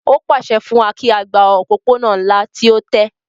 Ó pàṣẹ fún wa kí á gba òpópónà ńlá tí ó tẹ́